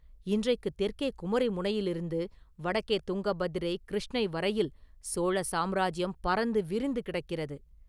இன்றைக்குத் தெற்கே குமரி முனையிலிருந்து வடக்கே துங்கபத்திரை – கிருஷ்ணை வரையில் சோழ சாம்ராஜ்யம் பரந்து விரிந்து கிடக்கிறது.